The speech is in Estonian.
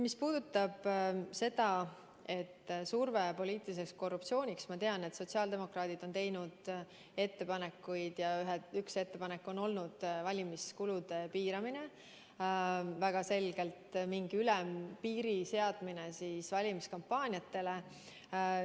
Mis puudutab survet poliitiliseks korruptsiooniks, siis ma tean, et sotsiaaldemokraadid on teinud sel teemal ettepanekuid ja üks ettepanek on olnud valimiskulude piiramine, väga selgelt mingi ülempiiri seadmine valimiskampaaniate kuludele.